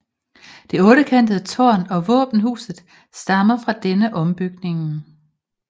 Det ottekantede tårn og våbenhuset stammer fra denne ombygningen